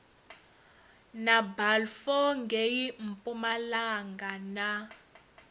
na balfour ngei mpumalanga na